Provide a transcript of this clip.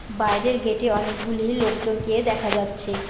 বাইরের গেটে অনেকগুলি লোকজনকে দেখা যাচ্ছে।